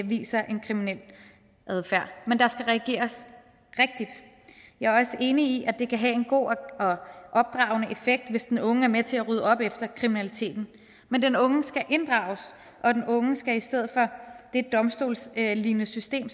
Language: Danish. viser en kriminel adfærd men der skal reageres rigtigt jeg er også enig i at det kan have en god og opdragende effekt hvis den unge er med til at rydde op efter kriminaliteten men den unge skal inddrages og den unge skal i stedet for det domstolslignende system